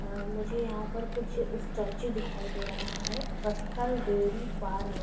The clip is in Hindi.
अ मुझे यहाँ पर कुछ स्टेचू दिखाई दे रहा है बस्तर डेयरी फार्म --